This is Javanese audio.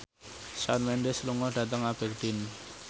Shawn Mendes lunga dhateng Aberdeen